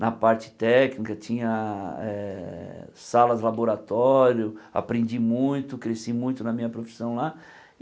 na parte técnica, tinha eh salas de laboratório, aprendi muito, cresci muito na minha profissão lá.